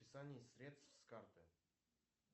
списание средств с карты